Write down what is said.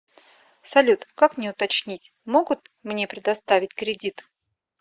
салют как мне уточнить могут мне предоставить кредит